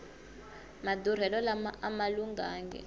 madurhelo lama ama lunghangi